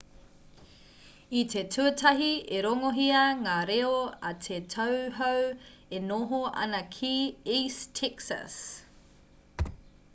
i te tuatahi i rongohia ngā reo a te tauhou e noho ana ki east texas